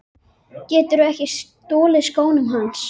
Geturðu ekki stolið skónum hans